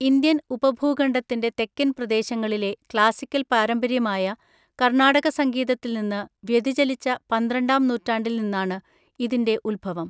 Indian ഉപഭൂഖണ്ഡത്തിന്റെ തെക്കൻ പ്രദേശങ്ങളിലെ ക്ലാസിക്കൽ പാരമ്പര്യമായ കർണാടക സംഗീതത്തിൽ നിന്ന് വ്യതിചലിച്ച പന്ത്രണ്ടാം നൂറ്റാണ്ടിൽ നിന്നാണ് ഇതിന്റെ ഉത്ഭവം.